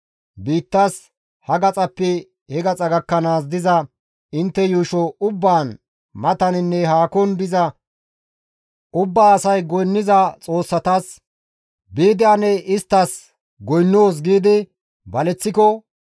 biittas ha gaxappe he gaxa gakkanaas diza intte yuusho ubbaan mataninne haakon diza ubbaa asay goynniza xoossatas, «Biidi ane isttas goynnoos» giidi baleththiko,